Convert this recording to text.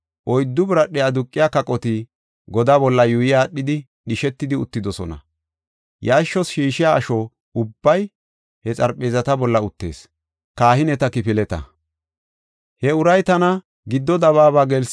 Oyddu biradhe aduqiya kaqota godaa bolla yuuyi aadhidi dhishetidi uttidosona. Yarshos shiishiya asho ubbay he xarpheezata bolla uttees.